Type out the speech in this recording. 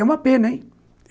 É uma pena, hein?